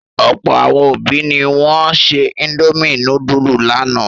Ọ̀pọ̀ àwọn òbí ni wọ́n se indomie núdúlù lánàá.